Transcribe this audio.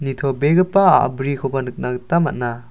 nitobegipa a·brikoba nikna gita man·a.